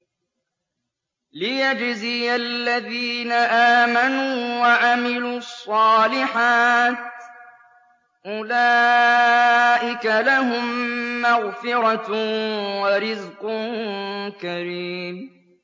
لِّيَجْزِيَ الَّذِينَ آمَنُوا وَعَمِلُوا الصَّالِحَاتِ ۚ أُولَٰئِكَ لَهُم مَّغْفِرَةٌ وَرِزْقٌ كَرِيمٌ